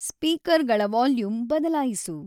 ಸ್ಪೀಕರ್‌ಗಳ volume ಬದಲಾಯಿಸು